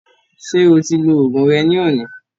Ṣé o ti lo oògùn rẹ ní òní?